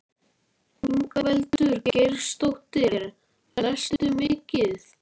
Þaðan hefur hann ekki losnað síðan, blessaður öðlingurinn!